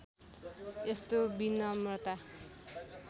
यस्तो विनम्रता